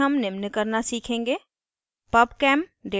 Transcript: इस tutorial में हम निम्न करना सीखेंगे